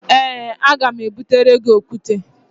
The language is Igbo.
Ee, aga m ebutere gị okwute